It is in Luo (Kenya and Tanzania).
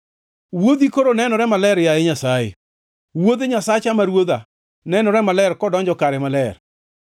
Wuodhi koro nenore maler, yaye Nyasaye, wuodh Nyasacha ma Ruodha nenore maler kodonjo kare maler.